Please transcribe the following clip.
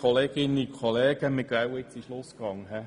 Der Motionär hat nochmals das Wort.